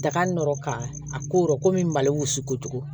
Daga nɔɔrɔ ka a korɔ komi malo wusu kojugu